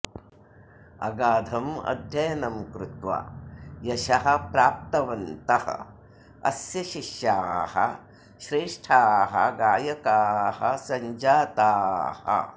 अगाधम् अध्ययनं कृत्वा यशः प्राप्तवन्तः अस्य शिष्याः श्रेष्ठाः गायकाः सञ्जाताः